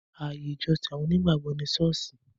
Ààyè ìjọsìn àwọn onígbàgbọ̀ ni Sọ́ọ́sì